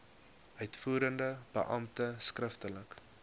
uitvoerende beampte skriftelik